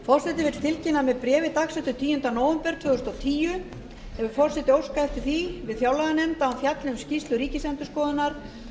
forseti vill tilkynna að með bréfi dagsettu tíunda nóvember tvö þúsund og tíu hefur forseti óskað eftir því við fjárlaganefnd að hún fjalli um skýrslu ríkisendurskoðunar